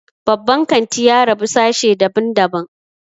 Babban kanti ya rabu sashe dabn daban